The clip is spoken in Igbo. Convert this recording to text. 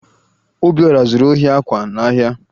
Obiọra zuru ohi akwa n'ahịa